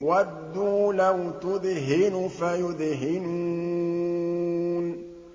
وَدُّوا لَوْ تُدْهِنُ فَيُدْهِنُونَ